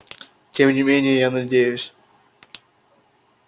тем не менее я надеюсь